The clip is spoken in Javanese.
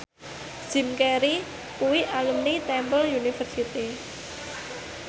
Jim Carey kuwi alumni Temple University